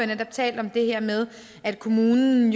der er tale om det her med at kommunen